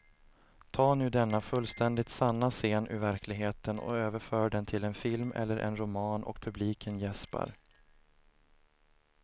Ta nu denna fullständigt sanna scen ur verkligheten och överför den till en film eller en roman och publiken jäspar.